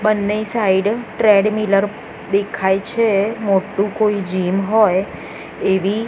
બન્ને side treadmill દેખાય છે મોટુ કોઇ જીમ હોઇ એવી--